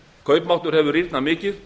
kaupmáttur hefur rýrnað mikið